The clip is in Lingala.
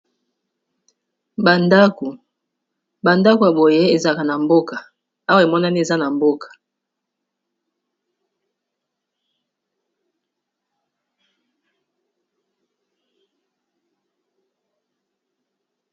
Bandako yaboye ezaka na mboka, awa emonani eza na mboka.